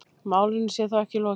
Málinu sé þó ekki lokið.